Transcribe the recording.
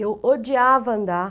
Eu odiava andar.